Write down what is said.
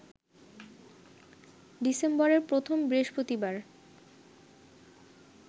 ডিসেম্বরের প্রথম বৃহস্পতিবার